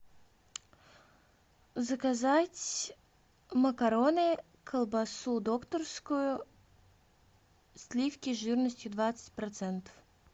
заказать макароны колбасу докторскую сливки жирностью двадцать процентов